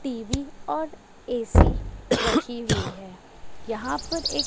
TV और AC रखी हुई है यहां पर एक--